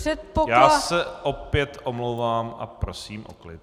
Já se opět omlouvám a prosím o klid.